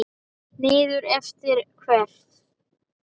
Niður eftir hvert?